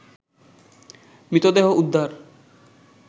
মৃতদেহ উদ্ধার